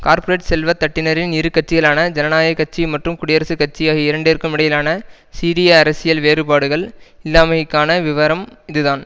corporate செல்வ தட்டினரின் இரு கட்சிகளான ஜனநாயக கட்சி மற்றும் குடியரசுக் கட்சி ஆகிய இரண்டிற்கும் இடையிலான சீரிய அரசியல் வேறுபாடுகள் இல்லாமைக்கான விவரம் இதுதான்